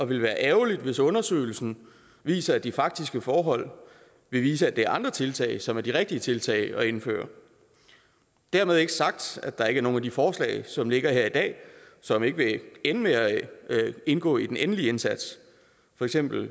ville være ærgerligt hvis undersøgelsen viser at de faktiske forhold vil vise at det er andre tiltag som er de rigtige tiltag at indføre dermed ikke sagt at der ikke er nogen af de forslag som ligger her i dag som ikke vil ende med at indgå i den endelige indsats for eksempel